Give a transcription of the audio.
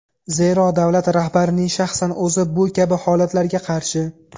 Zero davlat rahbarining shaxsan o‘zi bu kabi holatlarga qarshi.